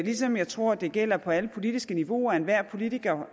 ligesom jeg tror det gælder på alle politiske niveauer at enhver politiker